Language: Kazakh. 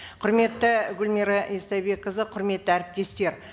құрметті гүлмира истайбекқызы құрметті әріптестер